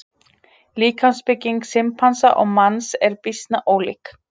Líkamsbygging simpansa og manns er býsna ólík.